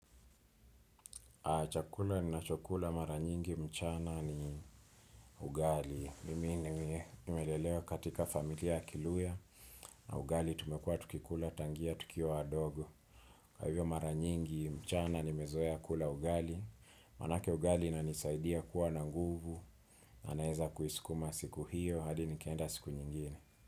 Chakula ninachokula maranyingi mchana ni ugali. Mimi nimelelewa katika familia kiluyha na ugali tumekuwa tukikula tangia tukiwa wadogo. Kwa hivyo maranyingi mchana nimezoea kula ugali. Manake ugali inanisaidia kuwa na nguvu na naeza kuisukuma siku hiyo hadi nikaenda siku nyingine.